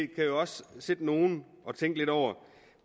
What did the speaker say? kan også sidde nogle og tænke lidt over